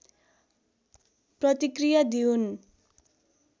प्रतिक्रिया दिउन्